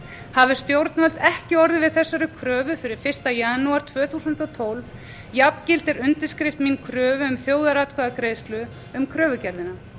hafi stjórnvöld ekki orðið við þessari kröfu fyrir fyrsta janúar tvö þúsund og tólf jafngildir undirskrift mín kröfu um þjóðaratkvæðagreiðslu um kröfugerðina